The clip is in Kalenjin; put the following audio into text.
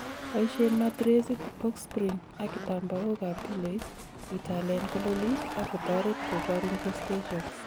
boishen matiresit, box spring ak kitambaok ab piloit italen kololik ak kotoret kobor infestations